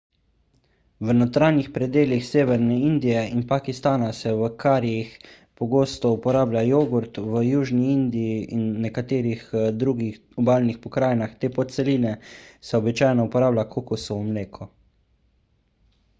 v notranjih predelih severne indije in pakistana se v karijih pogosto uporablja jogurt v južni indiji in nekaterih drugih obalnih pokrajinah te podceline se običajno uporablja kokosovo mleko